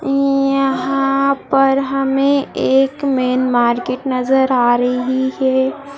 यहाँ पर हमें एक मैन मार्केट नजर आ रही है।